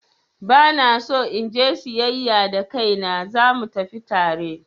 Ba na so in je siyayya da kaina, za mu tafi tare?